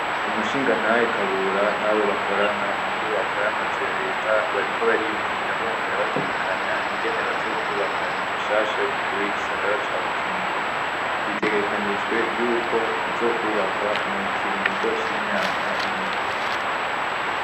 umsuhingatahe KABURA n' abo bakorana mu nyubako ya mazu ya reta bariko bariyumvira bongera bategekanya ingene bazokwubaka inzu shasha y' umukuru w' igisagara ca Bujumbura bitegekanijwe yuko izokwubakwa mu kiringo c' imyaka ibiri.